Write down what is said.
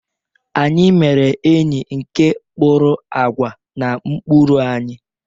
Anyị mere enyi nke kpụrụ àgwà na ụkpụrụ anyị.